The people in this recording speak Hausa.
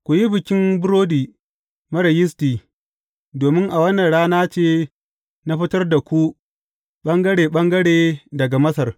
Ku yi Bikin Burodi Marar Yisti domin a wannan rana ce na fitar da ku ɓangare ɓangare daga Masar.